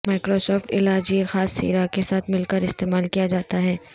Microsoft علاج یہ خاص سیرا کے ساتھ مل کر استعمال کیا جاتا ہے